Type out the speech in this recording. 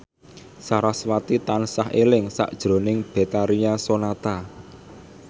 sarasvati tansah eling sakjroning Betharia Sonata